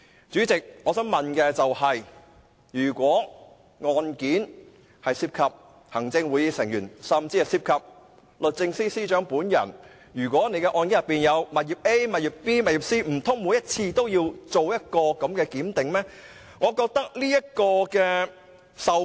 主席，我想問的是，如果案件涉及行政會議成員，甚或律政司司長本人擁有的物業 A、B 或 C， 難道每次都要視乎案情檢視應否作出授權？